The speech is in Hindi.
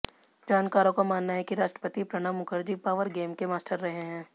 जानकारों का मानना है कि राष्ट्रपति प्रणब मुखर्जी पावर गेम के मास्टर रहे हैं